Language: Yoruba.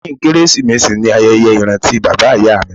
Lẹ́yìn Kérésìmesì ni ayẹyẹ ìrántí bàbá ìyá mi